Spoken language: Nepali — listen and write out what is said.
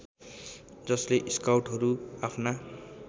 जसले स्काउटहरू आफ्ना